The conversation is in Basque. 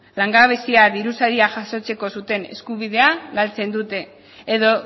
langabezia diru saria jasotzeko zuten eskubidea galtzen dute edo